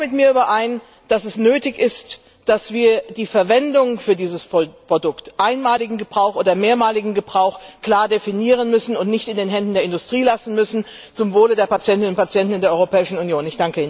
Stimmen Sie auch mit mir überein, dass es nötig ist, dass wir die Verwendung eines jeden Produkts einmaliger oder mehrmaliger Gebrauch klar definieren müssen und nicht in den Händen der Industrie belassen dürfen, zum Wohl der Patientinnen und Patienten in der Europäischen Union?